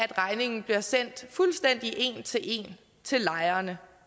regningen bliver sendt fuldstændig en til en til lejerne